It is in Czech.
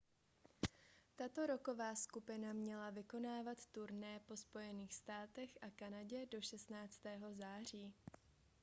tato rocková skupina měla vykonávat turné po spojených státech a kanadě do 16. září